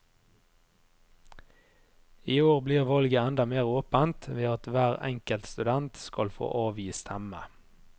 I år blir valget enda mer åpent ved at hver enkelt student skal få avgi stemme.